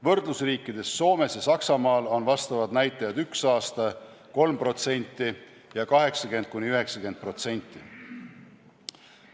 Võrdlusriikides Soomes ja Saksamaal on vastavad näitajad üks aasta 3% ja 80–90%.